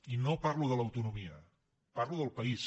i no parlo de l’autonomia parlo del país